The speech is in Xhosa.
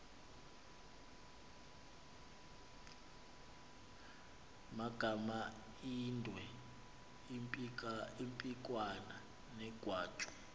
magamaindwe impikwana negwatyu